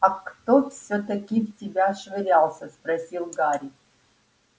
а кто всё-таки в тебя швырялся спросил гарри